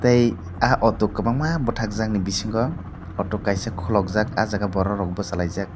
tei ah auto kwbangma bwthakjak ni bisingo auto kaisa khulokjak ah jaga borokrok bwchalaijak.